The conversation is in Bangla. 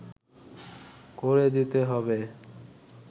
করে দিতে হবে